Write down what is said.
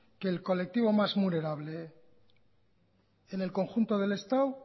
que el colectivo más vulnerable en el conjunto del estado